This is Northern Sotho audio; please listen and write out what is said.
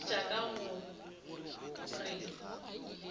a fetša ka go re